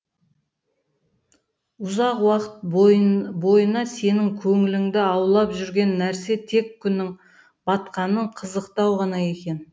ұзақ уақыт бойына сенің көңіліңді аулап жүрген нәрсе тек күннің батқанын қызықтау ғана екен